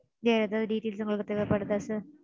வேற எதாவது details உங்களுக்கு தேவைப்படுதா sir?